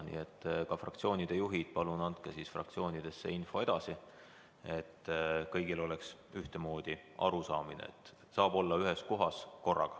Nii et fraktsioonide juhid, palun andke fraktsioonidesse info edasi, et kõigil oleks ühtemoodi arusaamine: saab olla vaid ühes kohas.